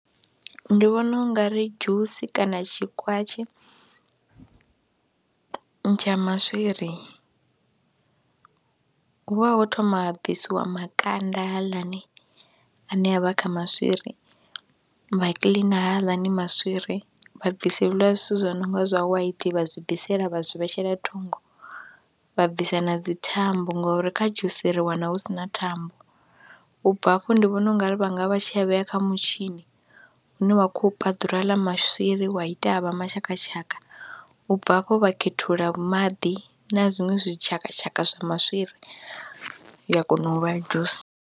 Ndi vhona u nga ri dzhusi kana tshikwatshi tsha maswiri hu vha ho thoma ha bvisiwa makanda haaḽani ane a vha kha maswiri, vha kiḽina haaḽani maswiri, vha bvisa hezwiḽa zwithu zwi no nga zwa white, vha zwi bvisela vha zwi vhetshela thungo, vha bvisa na dzi thambo ngori kha dzhusi ri wana hu si na thambo. U bva hafho ndi vhona u nga ri vha nga vha tshi a vhea kha mutshini une wa khou ya u paḓura haḽa maswiri wa ita a vha mashakatshaka. U bva hafho vha khethulula maḓi na zwiṅwe zwi tshakatshaka zwa maswiri ya kona u vha dzhusi.